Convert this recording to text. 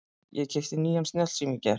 Ég keypti nýjan snjallsíma í gær.